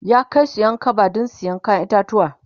ya Kai Su Ƴan kaba du saya kayan itatauwa